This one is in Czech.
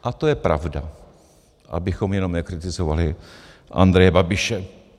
A to je pravda, abychom jenom nekritizovali Andreje Babiše.